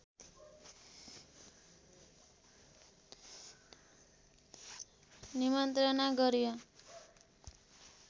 निमन्त्रणा गरियो